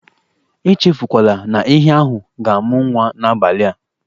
E chefukwala na ehi ahụ ga-amụ nwa n'abalị a.